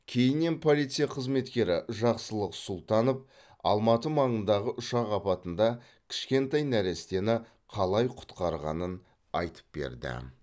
кейіннен полиция қызметкері жақсылық сұлтанов алматы маңындағы ұшақ апатында кішкентай нәрестені қалай құтқарғанын айтып берді